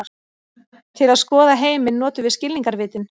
Til að skoða heiminn notum við skilningarvitin.